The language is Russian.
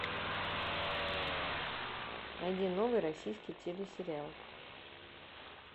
найди новый российский телесериал